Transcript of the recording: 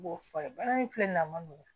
Baara in filɛ nin ye a ma nɔgɔn